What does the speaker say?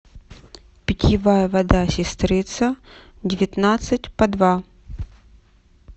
питьевая вода сестрица девятнадцать по два